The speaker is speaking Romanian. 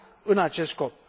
în acest scop.